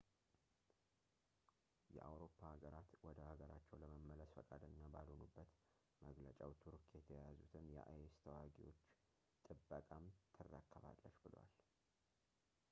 የአውሮፓ አገራት ወደ ሀገራቸው ለመመለስ ፈቃደኛ ባልሆኑበት መግለጫው ቱርክ የተያዙትን የአይ ኤስ ተዋጊዎችን ጥበቃም ትረከባለች ብሏል